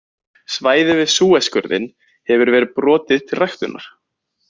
Svæði við Súesskurðinn hefur verið brotið til ræktunar.